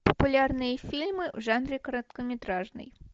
популярные фильмы в жанре короткометражный